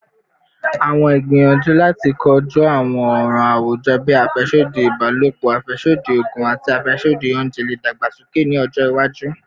Awọn igbiyanju lati koju awọn ọran awujọ bii afẹsodi ibalopọ, afẹsodi oogun, ati afẹsodi ounjẹ le dagbasoke ni ọjọ iwaju